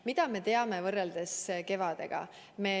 Mida me rohkem teame võrreldes kevadega?